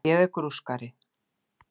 Ég er grúskari.